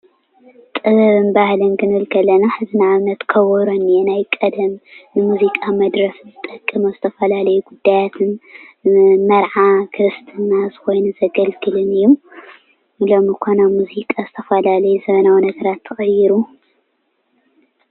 ጥበብን ባህሊን ክንብል ከለና ንአብነት ከበሮ እኒአ ናይ ቀደም ሙዚቃ መድረፊ ነገር ከከም ዝተፈላለየ ጉዳያት ንመርዓ፣ ክርስትና ኮይኑ ዘገልግለን እዩ። ሎሚ እዃ ናብ ሙዚቃ ዝተፈላለየ ዘበናዊ ነገራት ተቀይሩ።